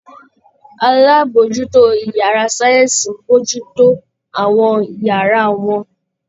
Alábòójútó ìyárá sáyẹ́nsì ń bójú tó àwọn ìyárá wọn.